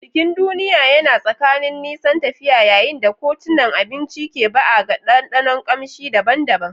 Bikin duniya yana tsakanin nisan tafiya yayin da kotunan abinci ke ba'a ga ɗanɗanon kamshi daban-daban.